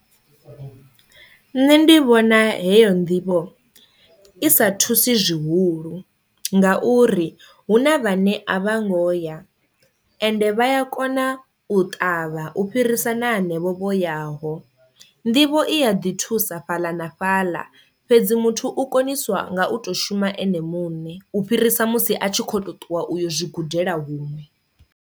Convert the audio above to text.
Nṋe ndi vhona heyo nḓivho i sa thusi zwihulu ngauri hu na vhane a vha ngo ya ende vha ya kona u ṱavha u fhirisa na hanevho vho yaho, nḓivho i ya ḓi thusa fhaḽa na fhaḽa fhedzi muthu u koniswa nga u to shuma ene muṋe u fhirisa musi a tshi kho to ṱuwa uyo zwi gudela huṅwe.